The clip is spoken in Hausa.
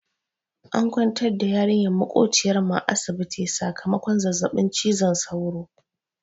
An kwantar da yarinyar maƙociyar mu a asibiti sakamakon zazzaɓin cizon sauro.